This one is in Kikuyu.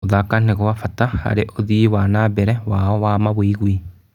Gũthaka nĩ gwa bata harĩ ũthii wa na mbere wao wa mawĩgwi.